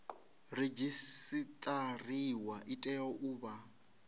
redzisiṱariwa i tea u vha